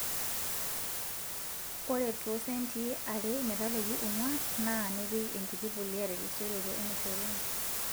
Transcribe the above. Ore too sentii are metabaiki onguan naa nipik enkiti pulia terisioroto enaishoruni